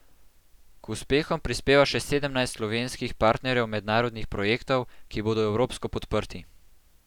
K uspehom prispeva še sedemnajst slovenskih partnerjev mednarodnih projektov, ki bodo evropsko podprti.